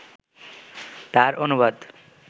তার অনুবাদ